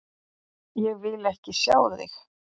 Ég vil ekki sjá þig!